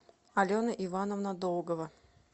алена ивановна долгова